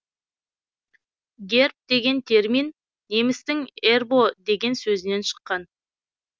герб деген термин немістің ербо деген сөзінен шыққан